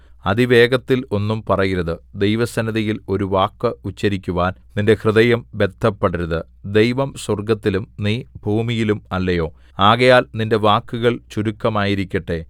അതിവേഗത്തിൽ ഒന്നും പറയരുത് ദൈവസന്നിധിയിൽ ഒരു വാക്ക് ഉച്ചരിക്കുവാൻ നിന്റെ ഹൃദയം ബദ്ധപ്പെടരുത് ദൈവം സ്വർഗ്ഗത്തിലും നീ ഭൂമിയിലും അല്ലയോ ആകയാൽ നിന്റെ വാക്കുകൾ ചുരുക്കമായിരിക്കട്ടെ